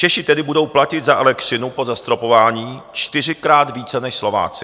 Češi tedy budou platit za elektřinu po zastropování čtyřikrát více než Slováci.